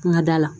Ŋa da la